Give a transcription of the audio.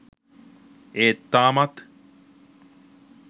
ඒත් තාමත්